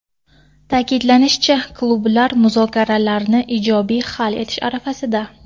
Ta’kidlanishicha, klublar muzokaralarni ijobiy hal etish arafasida.